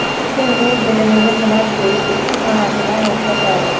Lekin u bilimini sinab ko‘rish uchun onasidan ruxsat oldi.